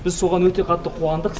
біз соған өте қатты қуандық